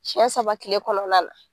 siɲɛ saba tile kɔnɔna la.